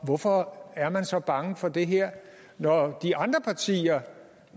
hvorfor er man så bange for det her når de andre partier